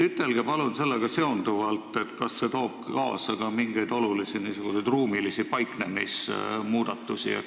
Ütelge palun sellega seonduvalt, kas see toob kaasa ka mingeid olulisi ruumilisi paiknemismuudatusi.